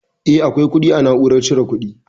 Eh akwai kuɗi a na'urar cire kuɗi